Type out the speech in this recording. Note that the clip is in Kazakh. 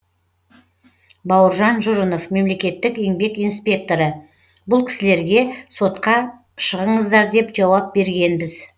бауыржан жұрынов мемлекеттік еңбек инспекторы бұл кісілерге сотқа шығыңыздар деп жауап бергенбіз